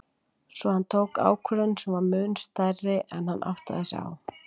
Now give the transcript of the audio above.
Svo hann tók ákvörðun sem var mun stærri en hann áttaði sig á í svipinn.